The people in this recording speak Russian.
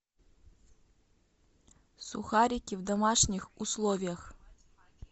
сухарики в домашних условиях